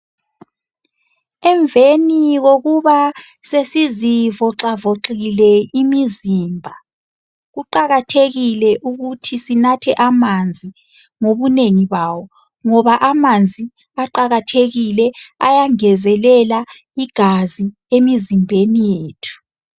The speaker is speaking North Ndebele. Emveni kokuba sesizivoxavoxile imizimba kuqakathekile ukuthi sinathe amanzi ngobunengi bawo ngoba amanzi aqakathekile ayangezelela igazi emizimbeni yethu.